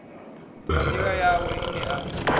na nḓila yawe ine a